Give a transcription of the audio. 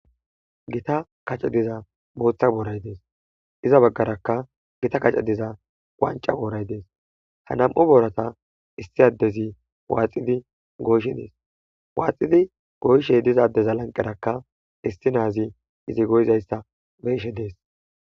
Gita kaceyi diza boththa borayi dees.izza bagarakka Gita kaaceyi diza wanicca borayi dees.haa nam''u borata issi adezzi waxxiddi goyishshe dees.waaxxidi goyishshe doza adezzi laniqerakka issi nazi izzi goyizayissa be'ishshe dees.